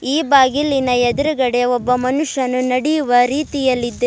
ಈ ಬಾಗಿಲಿನ ಎದ್ರುಗಡೆ ಒಬ್ಬ ಮನುಷ್ಯನು ನಡೆಯುವ ರೀತಿಯಲ್ಲಿದೆ.